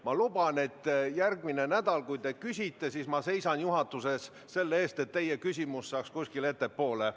Ma luban, et järgmine nädal, kui te küsite, siis ma seisan juhatuses selle eest, et teie küsimus saaks kuskile ettepoole.